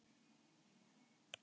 Sjö lögðu upp en fimm kláruðu